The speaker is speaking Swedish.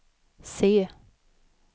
se